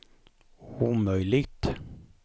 omöjligt